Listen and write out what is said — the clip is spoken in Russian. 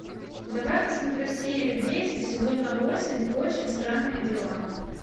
давай я посмотрю серию десять сезона восемь очень странные дела